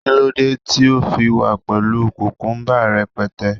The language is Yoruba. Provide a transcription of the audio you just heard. kilode ti o fi wa pẹlu kukumba rẹpẹtẹ